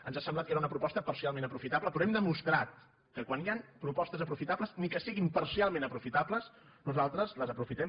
ens ha semblat que era una proposta parcialment aprofitable però hem demostrat que quan hi han propostes aprofitables ni que siguin parcialment aprofitables nosaltres les aprofitem